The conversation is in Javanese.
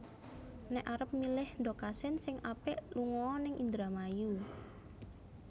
Nek arep milih ndog asin sing apik lungo o ning Indramayu